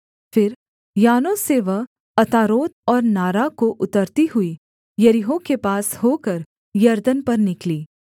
फिर यानोह से वह अतारोत और नारा को उतरती हुई यरीहो के पास होकर यरदन पर निकली